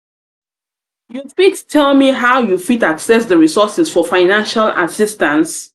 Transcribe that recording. you fit tell me how you fit access di resources for financial assistance?